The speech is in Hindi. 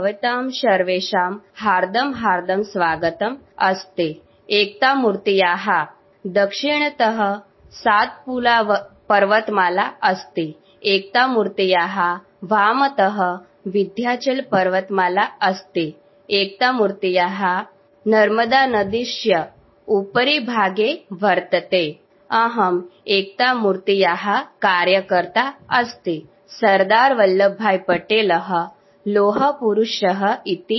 sound clip statue of unity